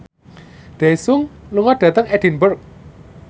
Daesung lunga dhateng Edinburgh